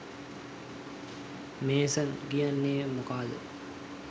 mason කියන්නේ මොකාද